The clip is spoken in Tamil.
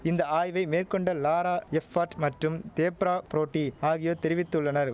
இந்த ஆய்வை மேற்கொண்ட லாரா எப்பாட் மற்றும் தேப்ரா ப்ரோடி ஆகியோர் தெரிவித்துள்ளனர்